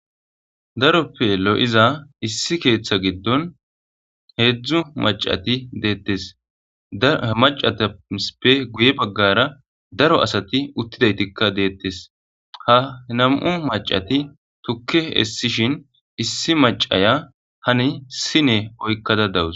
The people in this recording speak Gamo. Daroppe lo'iza issi keeththa giddon heedzdzu maccati dettees ha maccatappe guye baggara daro asati uttidaytika dettees ha nam'u maccati tukke essishin issi maccaya hani sine oykkada dawus.